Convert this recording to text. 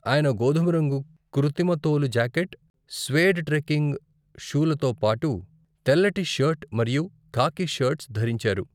ఆయన గోధుమరంగు కృతిమ తోలు జాకెట్, స్వేడ్ ట్రెక్కింగ్ షూలతో పాటు, తెల్లటి షర్ట్ మరియు ఖాకీ షర్ట్స్ ధరించారు.